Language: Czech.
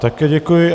Také děkuji.